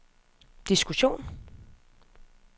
diskussion